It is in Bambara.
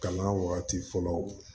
Kalan wagati fɔlɔ